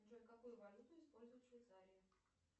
джой какую валюту используют в швейцарии